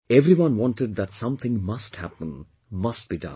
Everyone wanted that something must happen, must be done